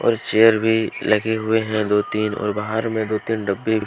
और चेयर भी लगे हुए हैं दो तीन और बाहर में दो तीन डब्बे--